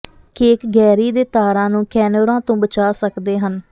cake ਗੈਰੀ ਦੇ ਤਾਰਾਂ ਨੂੰ ਕੈਨੋਰਾਂ ਤੋਂ ਬਚਾ ਸਕਦੇ ਹਨ